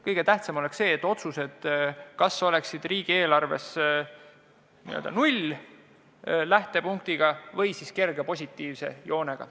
Kõige tähtsam on see, et otsuste puhul oleks riigieelarves tegu null-lähtepunktiga või siis kerge positiivse joonega.